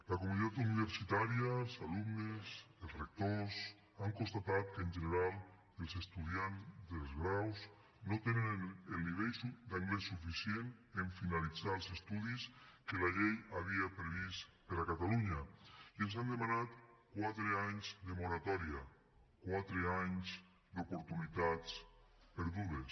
la comunitat universitària els alumnes els rectors han constatat que en general els estudiants dels graus no tenen el nivell d’anglès suficient en finalitzar els estudis que la llei havia previst per a catalunya i ens han demanat quatre anys de moratòria quatre anys d’oportunitats perdudes